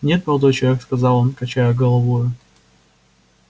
нет молодой человек сказал он качая головою